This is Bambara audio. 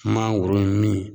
Mangoro min